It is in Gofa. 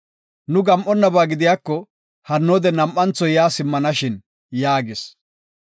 Nu gam7onaba gidiyako, hannoode nam7antho yaa simmana shin” yaagis.